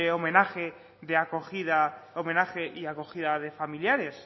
homenaje de acogida homenaje y acogida de familiares